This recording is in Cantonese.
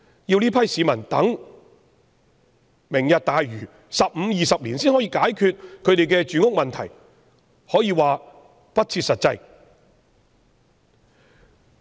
要這批市民等待"明日大嶼 "，15 年或20年後才可解決他們的住屋問題，可說是不切實際。